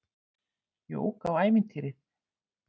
Jók á ævintýrið.